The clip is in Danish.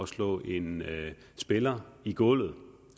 slå en spiller i gulvet